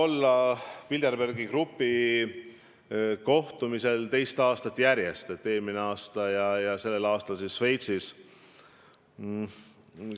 Jah, mul oli au osaleda teist aastat järjest Bilderbergi grupi kohtumisel Šveitsis.